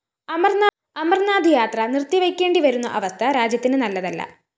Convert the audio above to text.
അമർനാഥ് യാത്ര നിർത്തിവയ്‌ക്കേണ്ടവരുന്ന അവസ്ഥ രാജ്യത്തിന് നല്ലതല്ല